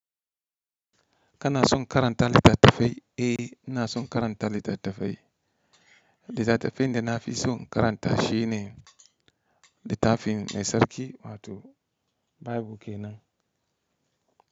Kana son karanta littattafai? Eh, ina son karanta littattafai. Littattafin da na fi so karanta shi ne littafin mai sarki wato Bible kenan.